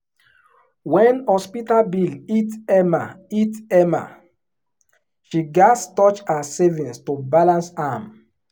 when hospital bill hit emma hit emma she gats touch her savings to balance am